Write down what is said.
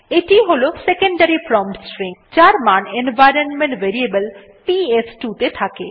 এটি ই হল সেকেন্ডারি প্রম্পট স্ট্রিং যার মান এনভাইরনমেন্ট ভেরিয়েবল পিএস2 ত়ে থাকে